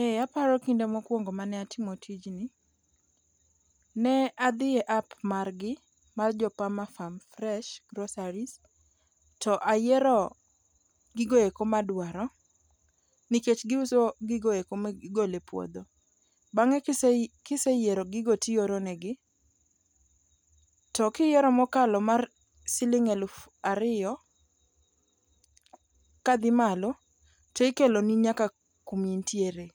Eh aparo kinde mokwongo mane atimo tijni, ne adhi e app margi mar jo pamafarm fresh groceries to ayiero gigoeko madwaro nikech giuso gigoeko migolo e puodho. Bang'e kiseyiero gigo tioronegi, to kiyiero mokalo mar siling' eluf ariyo kadhi malo tikeloni nyaka kumiintiere.